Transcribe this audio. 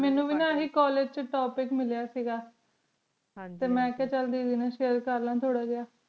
ਮੀਨੁ ਵੇ ਨਾ ਆਯ੍ਹੇ college ਚੁਣ ਆਯ੍ਹੇ topoic ਮਿਲਯਾ ਸੀਗ ਹਨ ਜੀ ਟੀ ਮਨ ਕਿਹਾ ਚਲ business sale ਕਰਲਾਂ ਥੋਰ ਜਿਯਾ